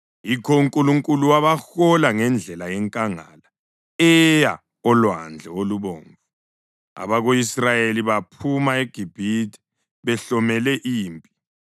Yikho uNkulunkulu wabahola ngendlela yenkangala eya oLwandle Olubomvu. Abako-Israyeli baphuma eGibhithe behlomele impi.